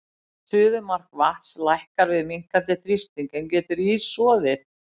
Suðumark vatns lækkar við minnkandi þrýsting, en getur ís soðið?